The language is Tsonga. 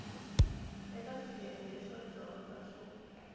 eka swiyenge swo dyondza swo